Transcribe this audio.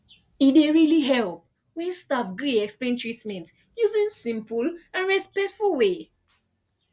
e really dey help when staff gree explain treatment using simple and respectful way